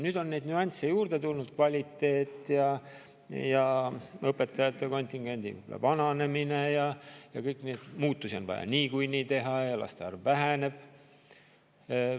Nüüd on neid nüansse juurde tulnud: kvaliteet ja õpetajate kontingendi vananemine ja kõik see, et muutusi on vaja niikuinii teha ja laste arv väheneb.